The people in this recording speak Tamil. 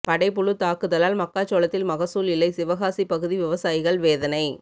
படைப்புழு தாக்குதலால் மக்காச்சோளத்தில் மகசூல் இல்லை சிவகாசி பகுதி விவசாயிகள் வேதனை